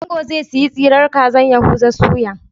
Ango zai siyi tsiran kazar Yahuza soya